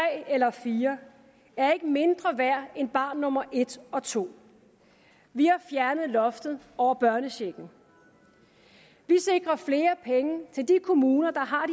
eller fire er ikke mindre værd end barn nummer et og to vi har fjernet loftet over børnechecken vi sikrer flere penge til de kommuner der har